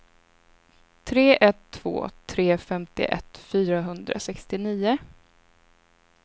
tre ett två tre femtioett fyrahundrasextionio